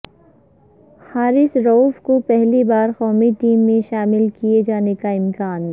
حارث رئوف کو پہلی بار قومی ٹیم میں شامل کیے جانیکا امکان